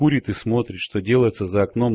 курит и смотрит что делается за окном